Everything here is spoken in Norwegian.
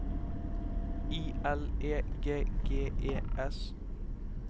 I L E G G E S